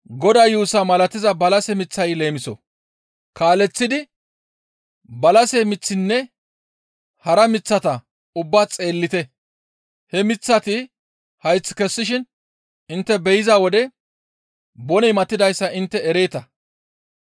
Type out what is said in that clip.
Kaaleththidi, «Balase miththinne hara miththata ubbaa xeellite; he miththati hayth kessishin intte be7iza wode boney matidayssa intte ereeta.